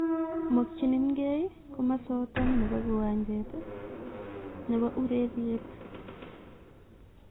Mokyinkee komosaton kiwanjet nepo ureryeet